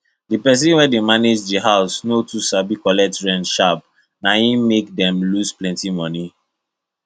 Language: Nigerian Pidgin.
the people wey dey manage the house no too sabi collect rent sharp na im make dem lose plenty money